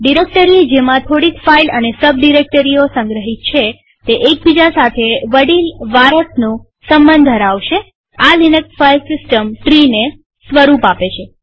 directory જેમાં થોડીક file અને સબ ડિરેક્ટરીઓ સંગ્રહિત છે તે એકબીજા સાથે વડીલ વારસનો સંબંધ ધરાવશેઆ લિનક્સ ફાઈલ સિસ્ટમ ટ્રીને સ્વરૂપ આપે છે